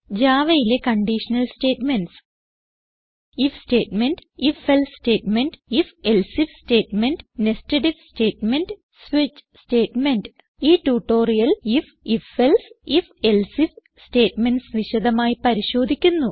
javaയിലെ conditional statements IF statement160 ifഎൽസെ statement160 ifഎൽസെ IF statement160 nested IF statement switch statement ഈ ട്യൂട്ടോറിയലിൽ ഐഎഫ് ifഎൽസെ ifഎൽസെ ഐഎഫ് സ്റ്റേറ്റ്മെന്റ്സ് വിശദമായി പരിശോധിക്കുന്നു